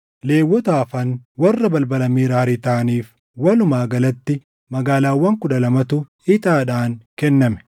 Lewwota hafan warra balbala Meraarii taʼaniif walumaa galatti magaalaawwan kudha lamatu ixaadhaan kenname.